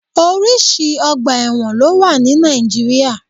Orísìí ọgbà ẹ̀wọ̀n ló wà ní Nàìjíríà